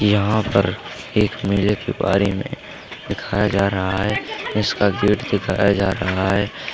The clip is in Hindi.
यहां पर एक मेले के बारे में दिखाया जा रहा है इसका गेट दिखाया जा रहा है।